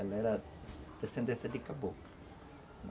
Ela era descendência de caboclo.